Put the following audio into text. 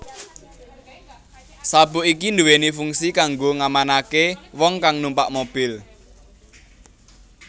Sabuk iki duwéni fungsi kanggo ngamanaké wong kang numpak mobil